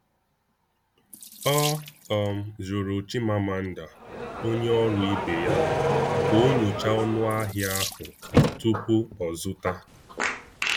Ọ um jụrụ Chimamanda, onye ọrụ ibe ya, ka ọ nyochaa ọnụahịa ahụ tupu o zụta.